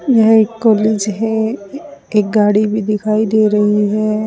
यह एक कॉलेज है एक गाड़ी भी दिखाई दे रही है।